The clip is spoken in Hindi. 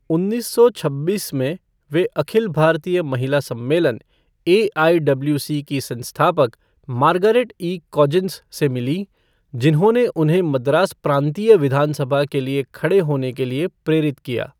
उन्नीस सौ छब्बीस में, वह अखिल भारतीय महिला सम्मेलन, एआईडब्ल्यूसी की संस्थापक मार्गरेट ई कजिन्स से मिलीं, जिन्होंने उन्हें मद्रास प्रांतीय विधान सभा के लिए खड़े होने के लिए प्रेरित किया।